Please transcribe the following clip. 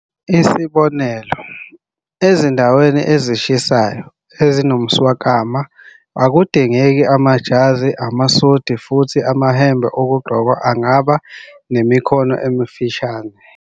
Isibonelo, ezindaweni ezishisayo, ezinomswakama, akudingeki amajazi amasudi, futhi amahembe okugqoka angaba nemikhono emifushane.